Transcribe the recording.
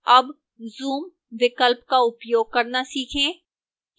अब zoom विकल्प का उपयोग करना सीखें